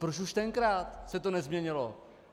Proč už tenkrát se to nezměnilo?